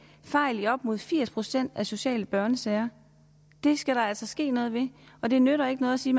fejl i op mod firs procent af de sociale børnesager det skal der altså ske noget ved og det nytter ikke noget at sige